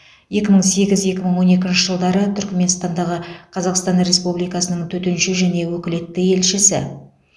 екі мың сегіз екі мың он екінші жылдары түрікменстандағы қазақстан республикасының төтенше және өкілетті елшісі